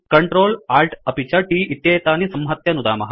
control Alt अपि च t इत्येतानि संहत्य नुदामः